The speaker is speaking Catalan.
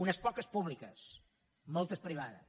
unes poques públiques moltes privades